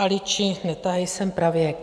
"Ališi, netahej sem pravěk".